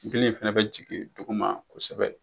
Ndili in fana bɛ jigin duguma kosɛbɛ.